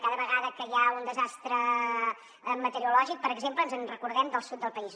cada vegada que hi ha un desastre meteorològic per exemple ens recordem del sud del país